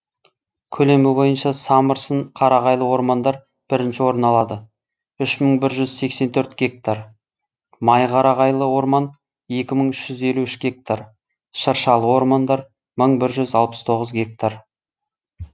көлемі бойынша самырсын қарағайлы ормандар бірінші орын алады үш мың бір жүзсексен төрт гектар майқарағайлы орман екі мың үш жүз елу үш гектар шыршалы ормандар мың бір жүз алпыс тоғыз гектар